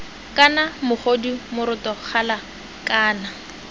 kana mogodu moroto gala kana